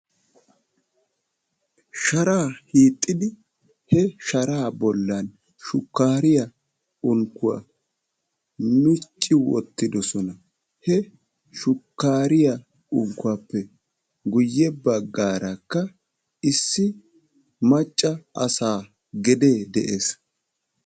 Sharaa hiixxidi he sharaa bollan shukkaariya unkkuwa micci wottidosona. He shukkaariya unkkuwappe guyye baggaarakka issi macca asaa gedee de'ees.